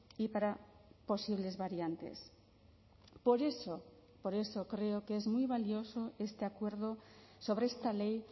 y para posibles variantes por eso por eso creo que es muy valioso este acuerdo sobre esta ley